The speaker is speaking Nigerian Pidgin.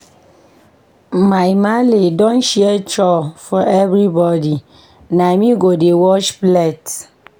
My maale don share chore for everybodi, na me go dey wash plate.